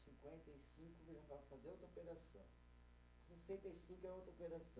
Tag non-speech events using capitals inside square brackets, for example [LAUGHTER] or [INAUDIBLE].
[UNINTELLIGIBLE] fazer outra operação, sessenta e cinco é outra operação